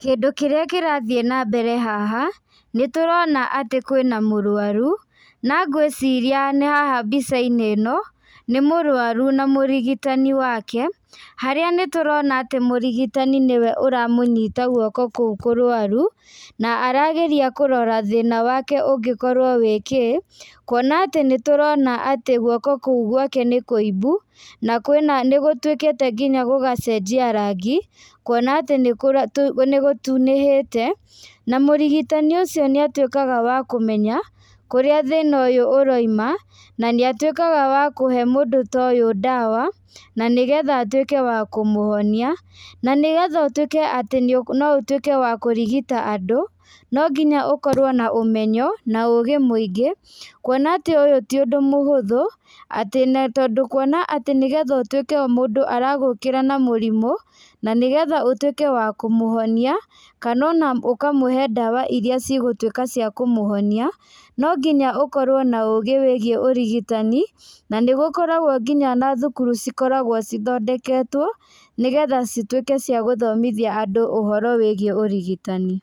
Kĩndũ kĩrĩa kĩrathiĩ nambere haha, nĩtũrona atĩ kwĩna mũrwaru, na ngwĩciria nĩ haha mbicainĩ ĩno, nĩ mũrwaru na mũrigitani wake, harĩa nĩtũrona atĩ mũrigitani nĩwe ũramũnyita gwoko kũu kũrwaru, na arageria kũrora thĩna wake ũngĩkorwo wĩ kĩ, kuona atĩ nĩtũrona atĩ guoko kũu gwake nĩ kũimbu, na kwĩna nĩgũtuĩkĩte nginya gũgacenjia rangi, kuona atĩ nĩkũra nĩgũtunĩhĩte, na mũrigitani ũcio nĩatuĩkaga wa kũmenya, kũrĩa thina ũyũ ũroima, na nĩatuĩkaga wa kũhe mũndũ ta ũyũ ndawa, na nĩgetha atuĩke wa kũmũhonia, na nĩgetha ũtuĩke atĩ no ũtuĩke wa kũrigita andũ, no nginya ũkorwo na ũmenyo, na ũgĩ mũingĩ, kuona atĩ ũyũ ti ũndũ mũhũthu, atĩ na tondũ kuona atĩ nĩgetha ũtuĩke mũndũ aragũkĩra na mũrimũ, na nĩgetha ũtuĩke wa kũmũhonia, kana ona ũkamũhe ndawa iria cigũtuĩka cia kũmũhonia, nonginya ũkorwo na ũgĩ wĩgiĩ ũrigitani, na nĩgũkoragwo nginya na thukuru cikoragwo cithondeketwo, nĩgetha cituĩke cia gũthomithia andũ ũhoro wĩgiĩ ũrigitani.